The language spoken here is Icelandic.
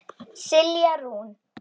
Silja Rún.